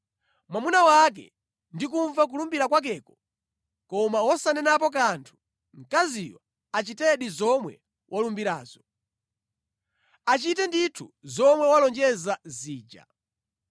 mwamuna wake ndi kumva kulumbira kwakeko koma wosanenapo kanthu, mkaziyo achitedi zomwe walumbirazo. Achite ndithu zomwe walonjeza zija.